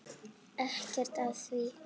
Ekkert að því!